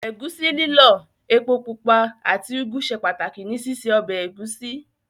Ẹ̀gúsí lílọ̀, epo pupa àti úgú ṣe pàtàkì ní síse ọbẹ̀ ẹ̀gúsí.